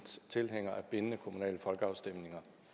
tilhængere af bindende kommunale folkeafstemninger